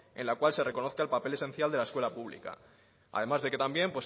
en la cual se reconozca el papel esencial de la escuela pública además de que también